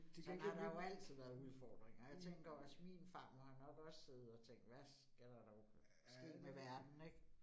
Sådan har der jo altid været udfordringer og jeg tænker også min farmor har nok også siddet og tænkt, hvad skal der dog ske med verden ik